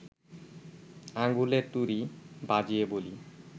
আঙুলে তুড়ি বাজিয়ে বলি